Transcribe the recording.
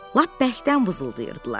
Lap bərkdən vızıldayırdılar.